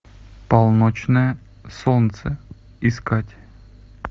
полночное солнце искать